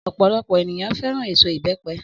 Ọ̀pọ̀lọpọ̀ ènìyàn fẹ́ràn èso ìbẹ́pẹ.